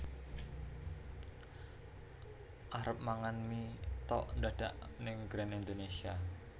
Arep mangan mie tok ndadak ning Grand Indonesia